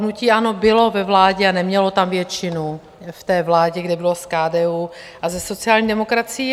Hnutí ANO bylo ve vládě a nemělo tam většinu - v té vládě, kde bylo s KDU a se sociální demokracií.